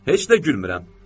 Heç də gülmürəm.